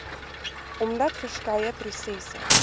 omdat verskeie prosesse